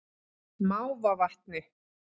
Mávavatni